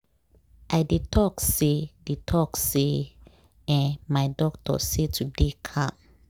i dey talk say dey talk say eeh my doctor say to dey calm